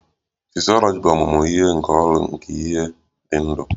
Fisyọlọji bụ ọmụmụ nke ọrụ nke ihe ndị dị ndụ